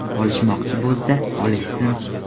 Olishmoqchi bo‘lsa, olishsin.